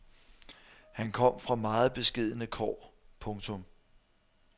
Han kom fra meget beskedne kår. punktum